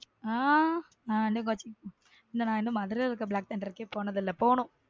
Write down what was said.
ஹம் நான் இன்னும் மதுரையில் இருக்க black thunder கே போனதில்லை போனும்.